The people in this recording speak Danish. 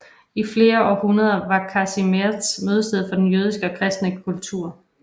I flere århundrede var Kazimierz mødestedet for den jødiske og kristne kultur